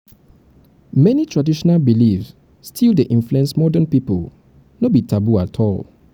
many traditional beliefs still dey influence modern pipo no be taboo at all.